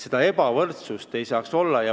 Seda ebavõrdsust ei tohiks olla.